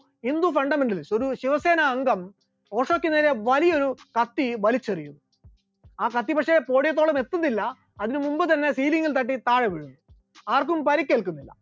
Hindu fundamental ഒരു ശിവസേന അംഗം ഓഷോക്ക് നേരെ വലിയൊരു കത്തി വലിച്ചെറിയുന്നു, ആ കത്തി പക്ഷെ podium ത്തോളം എത്തുന്നില്ല അതിന് മുൻപ് തന്നെ sealing ഉം തട്ടി താഴെ വീഴുന്നു, ആർക്കും പരിക്കേൽക്കുന്നില്ല.